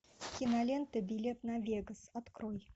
кинолента билет на вегас открой